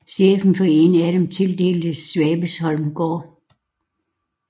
Chefen for en af dem tildeltes Svabesholm Gård